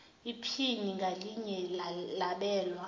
iphini ngalinye labelwa